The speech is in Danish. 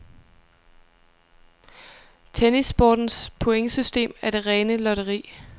Tennissportens pointsystem er det rene lotteri.